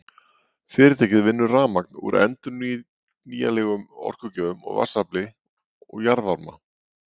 Fyrirtækið vinnur rafmagn úr endurnýjanlegum orkugjöfum, vatnsafli og jarðvarma.